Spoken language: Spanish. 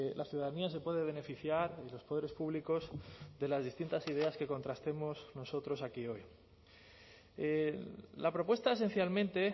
la ciudadanía se puede beneficiar y los poderes públicos de las distintas ideas que contrastemos nosotros aquí hoy la propuesta esencialmente